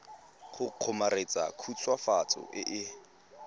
go kgomaretsa khutswafatso e e